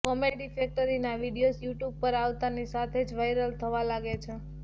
comedy ફેક્ટરીના videos YouTube પર આવતાની સાથે જ વાઈરલ થવા લાગે છે